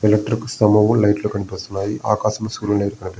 electric స్తంభం కూడా light లు కనిపిస్తున్నాయి ఆకాశం సూర్యుని ప్రక --